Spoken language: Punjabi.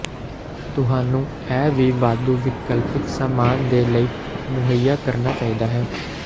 ਤੁਹਾਨੂੰ ਇਹ ਵੀ ਵਾਧੂ ਵਿਕਲਪਿਕ ਸਾਮਾਨ ਦੇ ਲਈ ਮੁਹੱਈਆ ਕਰਨਾ ਚਾਹੀਦਾ ਹੈ